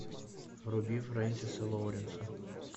вруби френсиса лоуренса